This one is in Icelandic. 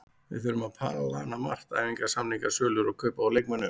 Við þurfum að plana margt, æfingar, samningar, sölur og kaup á leikmönnum.